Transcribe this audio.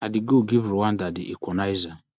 na di goal give rwanda di equaniser